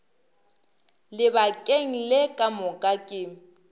lebakeng le ka moka ke